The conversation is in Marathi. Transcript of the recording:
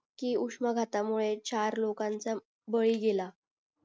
की उष्म गाता मुळे चार लोकांचा बळी गेला